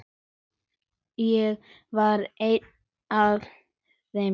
Ég var ein af þeim.